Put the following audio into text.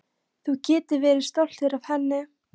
Þú getur verið stoltur af henni.